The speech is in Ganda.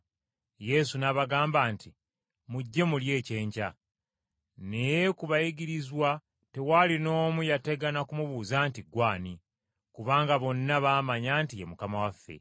Yesu n’abagamba nti, “Mujje mulye ekyenkya.” Naye ku bayigirizwa tewaali n’omu yategana ku mubuuza nti, “Ggwe ani?” Kubanga bonna baamanya nti ye Mukama waffe.